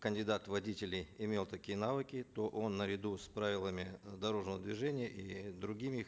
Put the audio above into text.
кандидат в водители имел такие навыки то он наряду с правилами дорожного движения и другими